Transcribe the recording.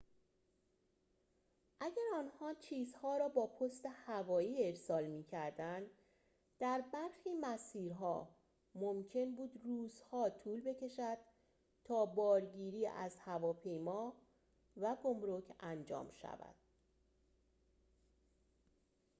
اگر آنها چیزها را با پست هوایی ارسال می‌کردند در برخی مسیرها ممکن بود روزها طول بکشد تا بارگیری از هواپیما و گمرک انجام شود